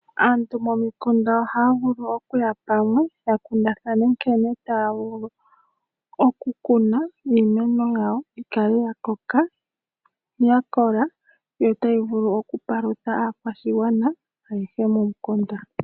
Aantu momikunda ohaya vulu okuya pamwe ya kundathane nkene taya vulu okukuna iimeno yawo yi kale ya koka no ya kola, yo tayi vulu okupalutha aakwashigwana ayehe momikunda.